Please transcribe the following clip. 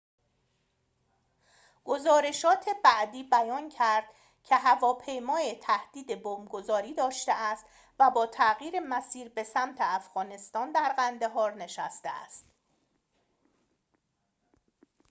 گزارشات بعدی بیان کرد که هواپیما تهدید بمب‌گذاری داشته است و با تغییر مسیر به سمت افغانستان در قندهار نشسته است